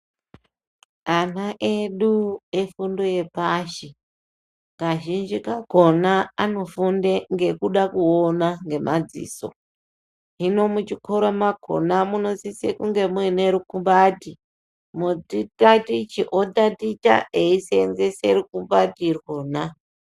Ana edu vefundo yepashi kazhinji kakona anofunde nekuda kuona ngemadziso hino muchikoro makona munosise kunge muine rukumbati mutatichi otaticha eiseenzese rukumbati irwona.